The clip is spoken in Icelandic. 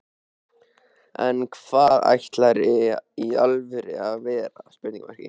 en hvað ætlarðu í alvörunni að verða?